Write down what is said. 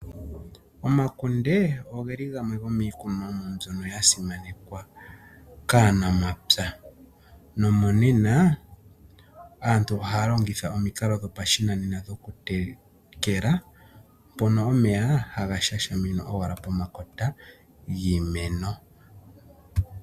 Omakunde ogo geli gamwe go miikunomwa mbyoka yi li ya simanekwa kaanamapya nomonena aantu ohaya longitha omikalo dhopashinanena dhokutekela mpono omeya haga shashaminwa owala pomakota giimeno.